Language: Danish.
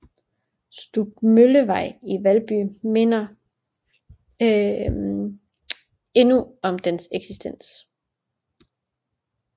Stubmøllevej i Valby minder endnu om dens eksistens